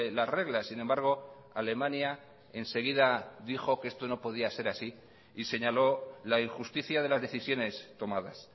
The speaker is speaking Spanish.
las reglas sin embargo alemania enseguida dijo que esto no podía ser así y señaló la injusticia de las decisiones tomadas